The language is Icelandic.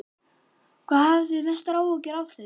Helga: Hafið þið mestar áhyggjur af þeim?